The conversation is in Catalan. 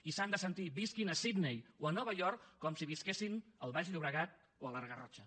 i s’han de sentir visquin a sydney o a nova york com si visquessin al baix llobregat o a la garrotxa